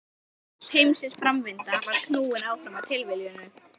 Öll heimsins framvinda var knúin áfram af tilviljunum.